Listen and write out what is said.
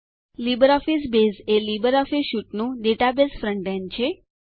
LibreOffice base એ Libre સ્યુટનું database front end છે